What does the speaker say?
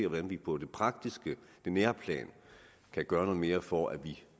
hvordan vi på det praktiske det nære plan kan gøre noget mere for at